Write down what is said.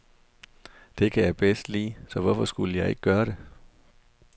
Det kan jeg bedst lide, så hvorfor skulle jeg ikke gøre det.